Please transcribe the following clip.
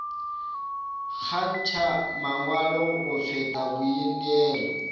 kgantšha mangwalo go feta boineelo